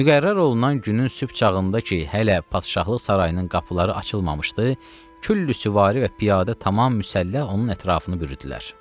Müqərrər olunan günün sübh çağında ki, hələ padşahlıq sarayının qapıları açılmamışdı, küllü süvari və piyadə tamam müsəlləh onun ətrafını bürüdülər.